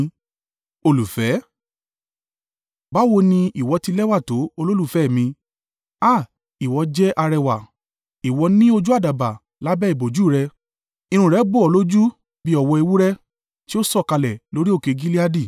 Báwo ni ìwọ ti lẹ́wà tó olólùfẹ́ mi! Háà, ìwọ jẹ́ arẹwà! Ìwọ ní ojú àdàbà lábẹ́ ìbòjú rẹ irun rẹ bò ọ́ lójú bí ọ̀wọ́ ewúrẹ́. Tí ó sọ̀kalẹ̀ lórí òkè Gileadi.